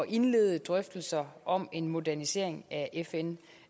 indlede drøftelser om en modernisering af fn